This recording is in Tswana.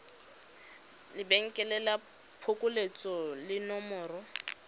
lebenkele la phokoletso le nomoro